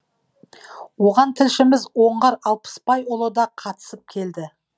оған тілшіміз оңғар алпысбайұлы да қатысып келді